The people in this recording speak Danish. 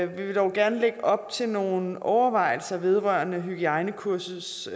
vi dog gerne lægge op til nogle overvejelser vedrørende hygiejnekursets